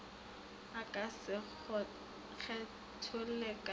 a ka se kgetholle ka